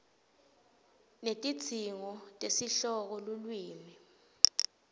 netidzingo tesihloko lulwimi